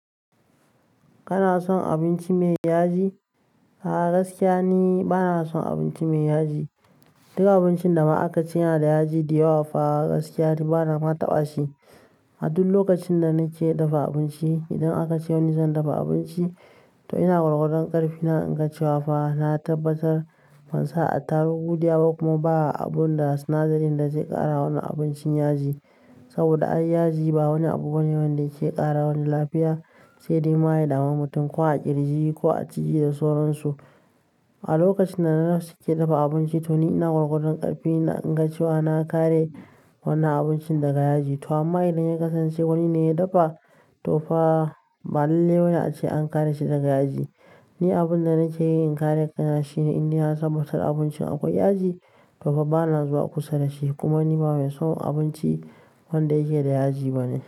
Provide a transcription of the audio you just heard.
Kana son abinci mai yaji? A'a gaskiya ni bana son abinci mai yaji. Duk abincin da aka cina da yaji da yawa fa gaskiya ni bana ma tabashi. A duk lokacin da nake dafa abinci, idan aka ce wani zan dafa abinci to ina gwargwadon ƙarfi na in ka ce fa na tabbatar ban sa attarugu diyawa ba kuma ba abun da sinadarin da zai ƙara wannan abincin yaji. Saboda yaji ba wani abu gwanin wanda yake ƙara wani lafiya, sai dai ma ya dami mutum ko a ƙirji ko a jiki da soron su. A lokacin da na na ke dafa abinci to ni ina gwargwadon ƙarfi na in ka ce na kare wannan abincin daga yaji. To amma idan ya kasance wani ne ya dafa to fa ba lalle ba ne ace an kare shi daga yaji. Ni abin da nake yi in kare ƙana shine in ni na tabbatar a abincin akwai yaji, fa bana zuwa kusa da shi kuma ni ba mai son abinci wanda yake da yaji bane.